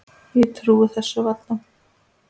Ég trúi þessu bara varla.